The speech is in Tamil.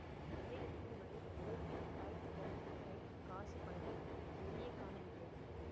தலை நரைக்கும்வரை உழைப்பில் காய்த்துப்போன கை காசு பணத்தை நிறைய காணவில்லை